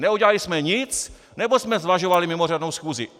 Neudělali jsme nic, nebo jsme zvažovali mimořádnou schůzi?